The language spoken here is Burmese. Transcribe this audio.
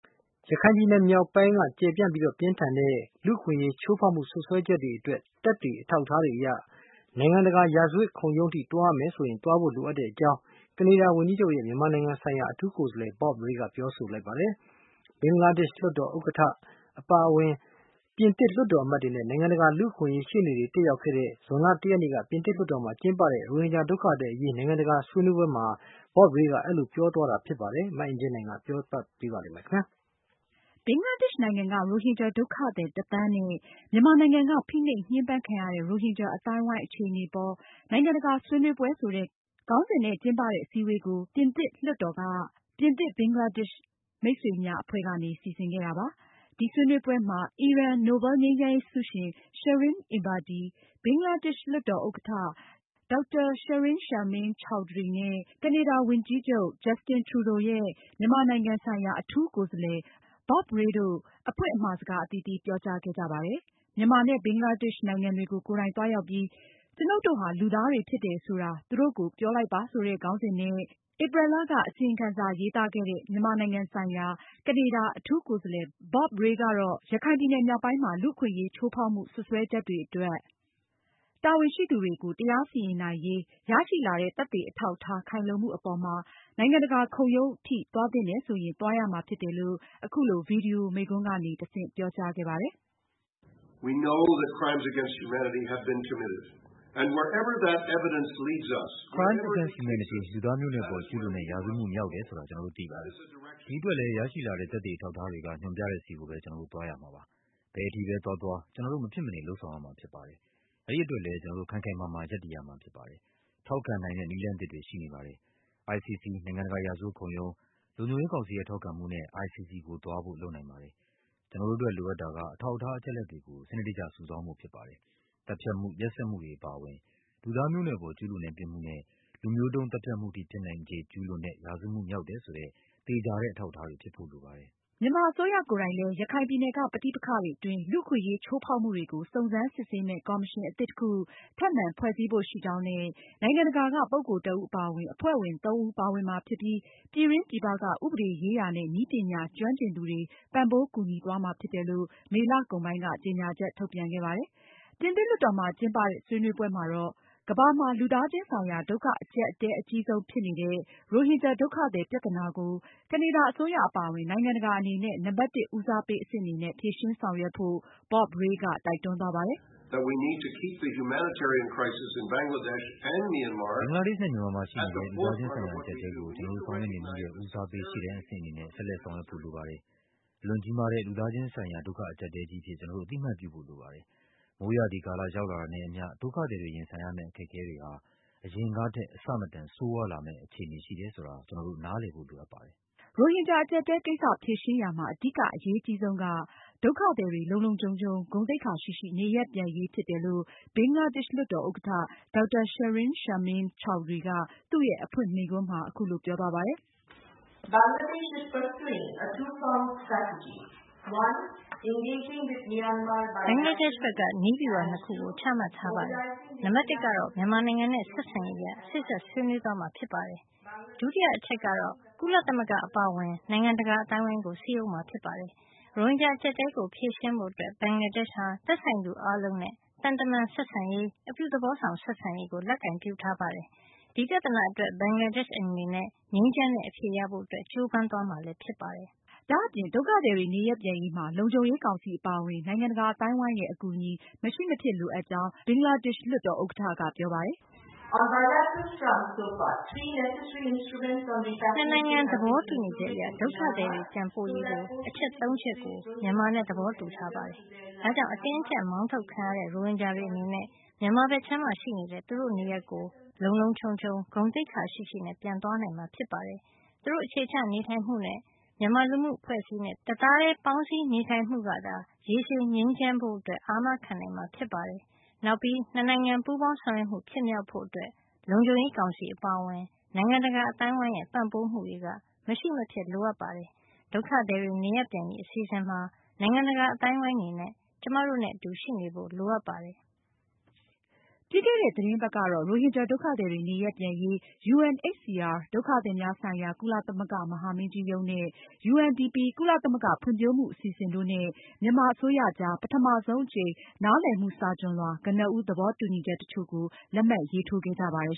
ရခိုင်ပြည်နယ်မြောက်ပိုင်းက ကျယ်ပြန့်ပြီး ပြင်းထန်တဲ့ လူ့အခွင့်အရေးချိုးဖောက်မှုစွပ်စွဲချက်တွေအတွက် သက်သေအထောက်အထားတွေ အရ နိုင်ငံတကာရာဇဝတ်ခုံရုံးအထိသွားရမယ်ဆိုရင် သွားဖို့ လိုအပ်ကြောင်း ကနေဒါဝန်ကြီးချုပ် Trudeau ရဲ့ မြန်မာနိုင်ငံဆိုင်ရာ အထူးကိုယ်စားလည် Bob Rae က ကပြောပါတယ်။ ဘင်္ဂလားဒေ့ရှ်လွှတ်တော် ဥက္ကဌ Dr. Shirin Sharmin Chaudhury အပါအဝင် ပြစ်သစ် လွှတ်တော်အမတ်တွေနဲ့ နိုင်ငံတကာလူ့အခွင့်အရေး ရှေ့နေတွေ တက်ရောက်ခဲ့တဲ့ ဇွန်လ ၁ ရက်နေ့က ပြင်သစ်လွှတ်တော်မှာ ကျင်းပတဲ့ ရိုဟင်ဂျာဒုက္ခသည်အရေး နိုင်ငံတကာဆွေးနွေးပွဲမှာ Bob Rae က အဲဒီလို ပြောဆိုလိုက်တာပါ။ မအင်ကြင်းနိုင်က အပြည့်အစုံ တင်ဆက်မှာပါ။ ဘင်္ဂလားဒေ့ရှ်နိုင်ငံက ရိုဟင်ဂျာဒုက္ခသည် ၁ သန်းနဲ့ မြန်မာနိုင်ငံက ဖိနှိပ်ညှမ်းပန်းခံရတဲ့ ရိုဟင်ဂျာအသိုင်းအဝိုင်း အခြေအနေအပေါ် နိုင်ငံတကာ ဆွေးနွေးပွဲဆိုတဲ့ ခေါင်းစဉ်နဲ့ ကျင်းပတဲ့ အစည်းအဝေးကို ပြင်သစ်လွှတ်တော်မှာ အမတ် Jean François Mbaye ဦးဆောင်တဲ့ ပြင်သစ်-ဘင်္ဂလားဒေ့ရှ် မိတ်ဆွေများ အဖွဲ့က စီစဉ်ခဲ့တာပါ။ ဒီဆွေးနွေးပွဲမှာ အီရန်နိုဗယ်လ်ငြိမ်းချမ်းရေးဆုရှင် Shirin Ebadi ၊ ဘင်္ဂလားဒေ့ရှ်လွှတ်တော် ဥက္ကဌ Dr Shirin Sharmin Chaudhury နဲ့ ကနေဒါဝန်ကြီးချုပ် Trudeau ရဲ့ မြန်မာနိုင်ငံဆိုင်ရာ အထူးကိုယ်စားလည် Bob Rae တို့ အဖွင့်အမှာစကား အသီးသီးပြောကြားခဲ့ကြပါတယ်။ မြန်မာနဲ့ ဘင်္ဂလားဒေ့ရှ်နိုင်ငံတွေကို ကိုယ်တိုင်သွားရောက်ပြီး “ကျွနု်ပ်တို့ဟာ လူသားတွေဖြစ်တယ် ဆိုတာ သူတို့ကို ပြောလိုက်ပါ” ဆိုတဲ့ ခေါင်းစဉ်နဲ့ ဧပြီလက အစီရင်ခံစာရေးသားခဲ့တဲ့ မြန်မာနိုင်ငံဆိုင်ရာ ကနေဒါအထူးကိုယ်စားလှယ် Bob Rae ကတော့ ရခိုင်ပြည်နယ်မြောက်ပိုင်းမှာ လူ့အခွင့်အရေးချိုးဖောက်မှုစွပ်စွဲတွေအတွက် တာဝန်ရှိသူတွေကို တရားစီရင်နိုင်ရေး ရရှိလာတဲ့ သက်သေအထောက်အထားခိုင်လုံမှုအပေါ်မှာ နိုင်ငံတကာခုံရုံးအထိ သွားသင့်တယ်ဆိုရင် သွားရမှာဖြစ်တယ်လို့ အခုလို ဗွီဒီယို မိန့်ခွန်းကနေ တဆင့်ပြောကြားခဲ့ပါတယ်။ "Crimes against humanity လူသားမျိုးနွယ်အပေါ် ကျူးလွန်တဲ့ ရာဇဝတ်မှု မြောက်တယ်ဆိုတာ ကျနော်တို့ သိပါတယ်။ ဒီအတွက်လည်း ရရှိလာတဲ့ သက်သေအထောက်အထားတွေက ညွန်းပြတဲ့ဆီကိုပဲ ကျနော်တို့ သွားရမှာပါ။ ဘယ်အထိထိပဲ သွားသွား ကျနော်တို့ မဖြစ်မနေ လုပ်ဆောင်ရမှာဖြစ်ပါတယ်။ အဲဒီအတွက်လည်း ကျနော်တို့ ခိုင်ခိုင်မာမာရပ်တည်ရမှာဖြစ်ပါတယ်။ ထောက်ခံနိုင်တဲ့ နည်းလမ်းသစ်တွေရှိနေပါတယ်။ ICC နိုင်ငံတကာရာဇဝတ်ခုံရုံး၊ လုံခြုံရေးကောင်စီရဲ့ ထောက်ခံမှုနဲ့ ICC ကိုသွားဖို့ လုပ်နိုင်ပါတယ်။ ကျနော်တို့အတွက် လိုအပ်တာက အထောက်အထားအချက်အလက်တွေကို စနစ်တကျစုဆောင်းဖို့ဖြစ်ပါတယ်။ သတ်ဖြတ်မှု၊ ရက်စက်မှုတွေ အပါအဝင် လူသားမျိုးနွယ်အပေါ် ကျူးလွန်တဲ့ ပြစ်မှုနဲ့ လူမျိုးတုန်းသတ်ဖြတ်မှုအထိ ဖြစ်နိုင်ခြေ ကျူးလွန်တဲ့ ရာဇဝတ်မှုမြောက်တယ်ဆိုတဲ့ သေချာတဲ့ အထောက်အထားတွေ ဖြစ်ဖို့လိုပါတယ်။ " မြန်မာအစိုးရကိုယ်တိုင်လည်း ရခိုင်ပြည်နယ်က ပဋိပက္ခတွေအတွင်း လူ့အခွင့်အရေး ချိုးဖောက်မှုတွေကို စုံစမ်းစစ်ဆေးမယ့် ကော်မရှင် အသစ်တခု ထပ်မံဖွဲ့စည်းဖို့ရှိကြောင်းနဲ့ နိုင်ငံတကာက ပုဂ္ဂိုလ်တဦး အပါအဝင် အဖွဲ့ဝင် ၃ ဦး ပါဝင်မှာဖြစ်ပြီး၊ ပြည်တွင်းပြည်ပက ဥပဒေရေးရာနဲ့ နည်းပညာ ကျွမ်းကျင်သူတွေ ပံ့ပိုးကူညီသွားမှာဖြစ်တယ်လို့ မေလ ကုန်ပိုင်းက ကြေညာချက်ထုတ်ပြန်ခဲ့ပါတယ်။ ပြင်သစ်လွှတ်တော်မှာ ကျင်းပတဲ့ ဆွေးနွေးပွဲမှာတော့ ကမ္ဘာမှာ လူသားချင်းဆိုင်ရာ ဒုက္ခအကျပ်အတည်းအကြီးဆုံးဖြစ်နေတဲ့ ရိုဟင်ဂျာဒုက္ခသည် ပြဿနာကို ကနေဒါအစိုးရအပါအဝင် နိုင်ငံတကာအနေနဲ့ နံပါတ်၁ ဦးစားပေးအဆင့်အနေနဲ့ ဖြေရှင်းဆောင်ရွက်ဖို့ Bob Rae က တိုက်တွန်းသွားပါတယ်။ "ဘင်္ဂလားဒေ့ရှ်နဲ့ မြန်မာမှာရှိနေတဲ့ လူသားချင်းဆိုင်ရာ အကျပ်အတည်းကို ကျနော်တို့ဆောင်ရွက်နေမှုရဲ့ ဦးစားပေးရှေ့တန်းအဆင့်အနေနဲ့ ဆက်လက် ဆောင်ရွက်ဖို့လိုပါတယ်။ အလွန်ကြီးမားတဲ့ လူသားချင်းဆိုင်ရာ ဒုက္ခအကျပ်အတည်းကြီးအဖြစ် ကျနော်တို့ အသိအမှတ်ပြုဖို့လိုပါတယ်။ မိုးရာသီကာလ ရောက်လာတာနဲ့အမျှ ဒုက္ခသည်တွေရင်ဆိုင်ရမယ့် အခက်အခဲတွေဟာ အရင်ကထက် အဆမတန်ဆိုးရွားလာမယ့် အခြေအနေရှိတယ်ဆိုတာ ကျနော်တို့ နားလည်ဖို့ လိုအပ်ပါတယ်။" ရိုဟင်ဂျာ အကျပ်အတည်းကိစ္စဖြေရှင်းရာမှာ အဓိကအရေးကြီးဆုံးက ဒုက္ခသည်တွေ လုံလုံခြုံခြုံ ဂုဏ်သိက္ခာရှိရှိ နေရပ်ပြန်နိုင်ရေး ဖြစ်တယ်လို့ ဘင်္ဂလားဒေ့ရှ်လွှတ်တော် ဥက္ကဌ Dr Shirin Sharmin Chaudhury က သူရဲ့အဖွင့်မိန့်ခွန်းမှာ အခုလို ပြောသွားပါတယ်။ "ဘင်္ဂလားဒေ့ရှ်ဘက် နည်းဗျူဟာ နှစ်ခု ချမှတ်ထားပါတယ်။ နံပါတ်၁ ကတော့ မြန်မာနိုင်ငံနဲ့ ဆက်ဆံရေးအရ စေ့စပ်ဆွေးနွေးသွားမှာဖြစ်ပါတယ်။ ဒုတိယကတော့ ကုလသမဂ္ဂအပါအဝင် နိုင်ငံတကာအသိုင်းအဝိုင်းကို စည်းရုံးမှာဖြစ်ပါတယ်။ ရိုဟင်ဂျာ အကျပ်အတည်းကို ဖြေရှင်းဖို့အတွက် ဘင်္ဂလားဒေ့ရှ်ဟာ သက်ဆိုင်သူအားလုံးနဲ့ သံတမန်ဆက်ဆံရေး၊ အပြုသဘောဆောင် ဆက်ဆံရေးကို လက်ကိုင်ပြုထားပါတယ်။ ဒီပြဿနာအတွက် ဘင်္ဂလားဒေ့ရှ်အနေနဲ့ ငြိမ်းချမ်းတဲ့ အဖြေရဖို့ ကြိုးပမ်းသွားမှာဖြစ်ပါတယ်။" ဒါအပြင် ဒုက္ခသည်တွေ နေရပ်ပြန်ရေးမှာ လုံခြုံရေးကောင်စီအပါအဝင် နိုင်ငံတကာအသိုင်းအဝိုင်းရဲ့ အကူအညီ မရှိမဖြစ်လိုအပ်ကြောင်း Shirin Sharmin Chaudhury ကပြောပါတယ်။ "နှစ်နိုင်ငံ သဘောတူညီချက်အရ ဒုက္ခသည်တွေပြန်ပို့ရေး အချက် ၃ ချက်ကို မြန်မာနဲ့ သဘောတူထားပါတယ်။ ဒါကြောင့် အတင်းအကျပ်မောင်းထုတ်ခံရတဲ့ ရိုဟင်ဂျာတွေအနေနဲ့ မြန်မာဘက်ခြမ်းမှာရှိတဲ့ သူတို့ နေရပ်ကို လုံလုံခြုံခြုံ၊ ဂုဏ်သိက္ခာရှိရှိပြန်သွားနိုင်မှာဖြစ်ပါတယ်။ သူတို့ အခြေချနေထိုင်မှုနဲ့ မြန်မာလူမှုအဖွဲ့အစည်းနဲ့ တသားတည်းပေါင်းစည်းနေထိုင်မှုကသာ ရေရှည်ငြိမ်းချမ်းဖို့အတွက် အာမခံနိုင်မှာ ဖြစ်ပါတယ်။ နောက်ပြီး နှစ်နိုင်ငံပူးပေါင်းဆောင်ရွက်မှု ဖြစ်မြောက်ဖို့ အတွက် လုံခြုံရေးကောင်စီအပါအဝင် နိုင်ငံတကာအသိုင်းအဝိုင်းရဲ့ ပံ့ပိုးမှုတွေက မရှိမဖြစ်လိုအပ်ပါတယ်။ ဒုက္ခသည်တွေ နေရပ်ပြန်ရေး အစီအစဉ်မှာ နိုင်ငံတကာအသိုင်းအဝိုင်းအနေနဲ့ ကျမတို့နဲ့ အတူရှိနေဖို့ လိုအပ်ပါတယ်။" ပြီးခဲ့တဲ့ သီတင်းပတ်ကတော့ ရိုဟင်ဂျာဒုက္ခသည်တွေ နေရပ်ပြန်ရေး UNHCR ဒုက္ခသည်များဆိုင်ရာ ကုလသမဂ္ဂမဟာမင်းကြီးရုံးနဲ့ UNDP ကုလသမဂ္ဂဖွံဖြိုးမှုအစီအစဉ်တို့နဲ့ မြန်မာအစိုးရကြား ပထမဆုံးအကြိမ် နားလည်မှုစာချွန်လွှာ ကနေဦး သဘောတူညီချက်တချို့ကို လက်မှတ်ရေးထိုးခဲ့ကြပါတယ်